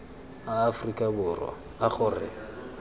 a aforika borwa a gore